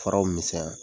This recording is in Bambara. Faraw misɛnya